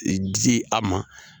E di a ma.